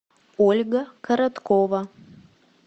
ольга короткова